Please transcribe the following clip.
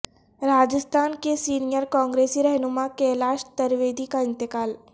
راجستھان کے سینئر کانگریسی رہنما کیلاش ترویدی کا انتقال